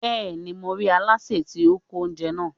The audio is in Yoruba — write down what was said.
Bẹ́ẹ̀ni, mo rí Aláṣẹ tí ó ń kó oúnjẹ náà.